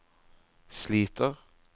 sliter